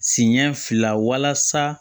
Siɲɛ fila walasa